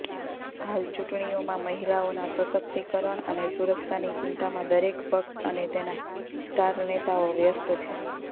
હાલ ચૂંટણીઓમાં મહિલાઓના સશક્તિકરણ અને સુરક્ષાની ચિંતામાં દરેક પક્ષ અને તેના સ્ટાર નેતાઓ વ્યસ્ત છે